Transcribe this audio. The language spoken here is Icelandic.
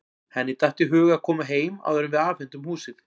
Henni datt í hug að koma heim áður en við afhendum húsið.